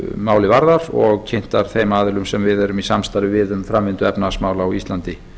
málið varðar og kynntar þeim aðilum sem við erum í samstarfi við um framvindu efnahagsmála á íslandi